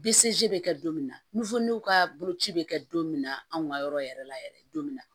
bɛ kɛ don min na ka boloci bɛ kɛ don min na anw ka yɔrɔ yɛrɛ la yɛrɛ don min na